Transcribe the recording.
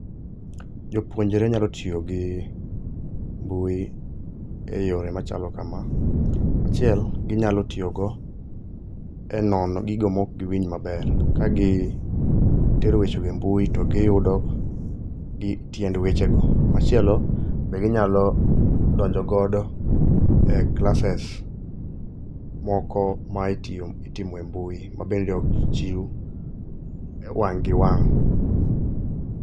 Jopuonjre nyalo tiyo gi mbui e yore machalo kama. Achiel, ginyalo tiyogo e nono gigo mokgiwinj maber. Kagit ero wechego e mbui to giyudo tiend wechego. Machielo, be ginyalo donjogodo e classes moko ma itiyo itimo e mbui ma bende ok chiw wang' gi wang'.